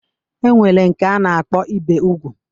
E nwere nke a na-akpọ ibe ugwu